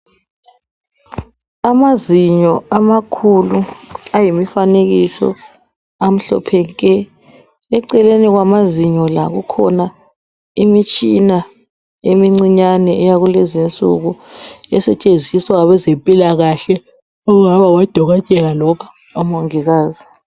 Amazinyo amakhulu ayimifanekiso amhlophe nke! Eceleni kwamazinyo la, kukhona imitshina emincinyane yakulezinsuku esetshenziswa ngabezempilakahle okungaba ngoDokotela loba oMongikazi.